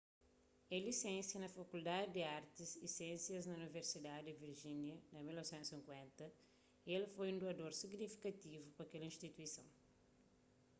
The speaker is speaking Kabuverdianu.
el lisensia na fakuldadi di artis y siénsias di universidadi di virjínia na 1950 y el foi un duador signifikativu pa kel instituison